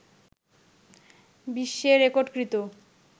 বিশ্বে রেকর্ডকৃত